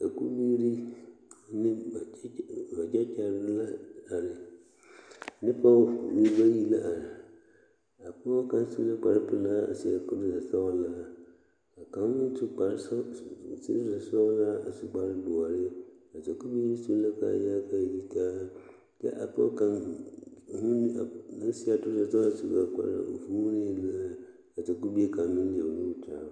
Sakubiiri ne ba tekyare la are ne pɔge nembayi la are a pɔge kaŋ tu la kpare pelaa a seɛ toraza sɔglaa kaŋa meŋ su kpare sɔglaa toraza sɔglaa a su kpare doɔre a sakubiiri su la kaaya ka a yitaa ka a pɔge kaŋ vuuni ka a sakubie kaŋa leɛ o niŋe kyaare o.